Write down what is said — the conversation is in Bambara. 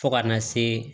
Fo kana se